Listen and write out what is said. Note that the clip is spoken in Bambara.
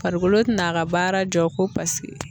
Farikolo tina ka baara jɔ ko paseke